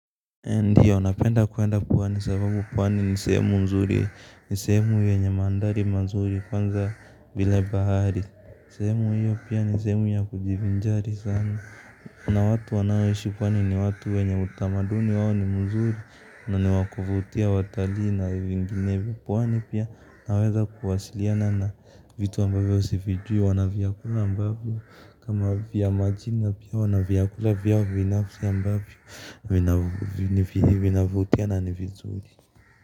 Ndiyo, napenda kuenda pwani sababu pwani ni sehemu nzuri, ni sehemu yenye mandhari mazuri, kwanza bila bahari sehemu hiyo pia ni sehemu ya kujivinjari sana na watu wanaoishi pwani ni watu wenye utamaduni wao ni mzuri na niwakuvutia watalii na vinginevyo. Pwani pia unaweza kuwasiliana na vitu ambavyo sivijui, wana vyakula ambavyo kama vya majina pia wanavyakula vyao binafsi ambayvo vinavutia na ni vizuri.